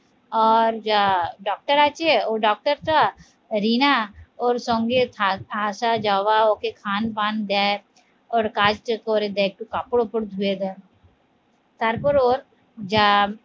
আহ doctor আছে ও doctor টা রিনা ওর সঙ্গে ‌আস যাওয়া ওকে খান পান দেয় ওর কাজটা করে দেয়, একটু কাপড়ের ওপর দুয়ে দাও তারপর ওর যা